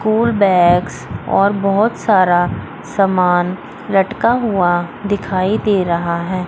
School bags और बहोत सारा समान लटका हुआ दिखाई दे रहा है।